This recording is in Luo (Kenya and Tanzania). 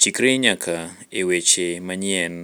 Chikri nyaka e weche manyien